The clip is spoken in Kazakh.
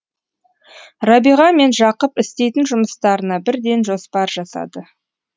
рабиға мен жақып істейтін жұмыстарына бірден жоспар жасады